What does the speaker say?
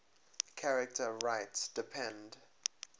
charter rights depend